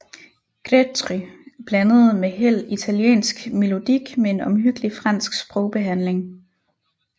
Grétry blandede med held italiensk melodik med en omhyggelig fransk sprogbehandling